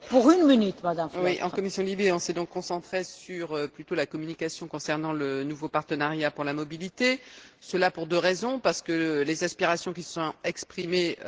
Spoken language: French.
Madame la Présidente, en commission LIBE, nous nous sommes donc plutôt concentrés sur la communication concernant le nouveau partenariat pour la mobilité, cela pour deux raisons parce que des aspirations se sont exprimées,